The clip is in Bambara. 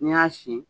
N'i y'a sin